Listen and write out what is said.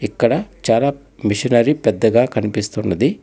ఇక్కడ చాలా మిషనరీ పెద్దగా కనిపిస్తున్నది.